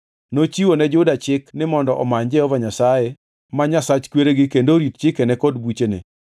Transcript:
Nochiwo ne Juda chik ni mondo omany Jehova Nyasaye ma Nyasach kweregi kendo orit chikene kod buchene.